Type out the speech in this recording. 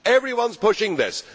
Everyone is pushing this.